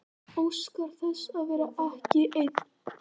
Óskar þess að vera ekki ein.